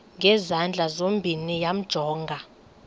ngezandla zozibini yamjonga